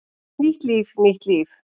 Nýtt líf, nýtt líf!